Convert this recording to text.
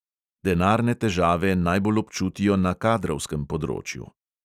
Denarne težave najbolj občutijo na kadrovskem področju.